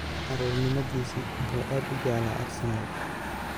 Caruurnimadiisa wuxuu aad u jeclaa Arsenal.